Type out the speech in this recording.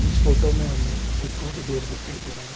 इस फोटो में हमें एक कॉरिडोर दिखाई दे रहा है।